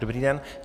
Dobrý den.